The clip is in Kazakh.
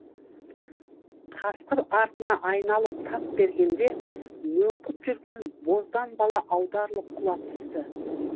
қасқыр артына айналып тап бергенде мөңкіп жүрген боздан бала аударылып құлап түсті